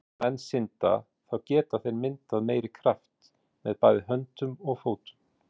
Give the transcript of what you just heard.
Þegar menn synda, þá geta þeir myndað meiri kraft með bæði höndum og fótum.